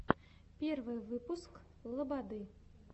первый выпуск лободы